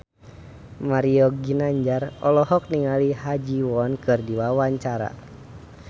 Mario Ginanjar olohok ningali Ha Ji Won keur diwawancara